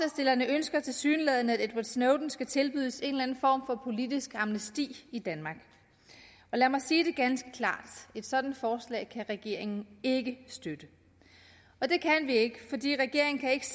ønsker tilsyneladende at edward snowden skal tilbydes en eller anden form for politisk amnesti i danmark lad mig sige det ganske klart et sådant forslag kan regeringen ikke støtte og det kan vi ikke fordi regeringen ikke